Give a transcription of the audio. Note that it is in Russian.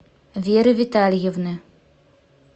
веры витальевны